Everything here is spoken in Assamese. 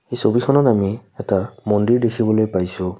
এই ছবিখনত আমি এটা মন্দিৰ দেখিবলৈ পাইছোঁ।